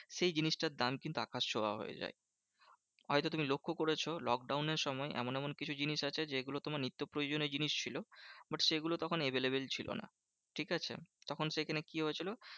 সেই জিনিসটার দাম কিন্তু আকাশ ছোঁয়া হয়ে যায়। হয়তো তুমি লক্ষ্য করেছো lockdown এর সময় এমন এমন কিছু জিনিস আছে যেগুলো তোমার নিত্যপ্রয়োজনীয় জিনিস ছিল। but সেগুলো তখন available ছিল না, ঠিকাছে? তখন সেখানে কি হয়েছিল?